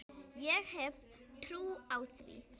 Ég hef trú á því.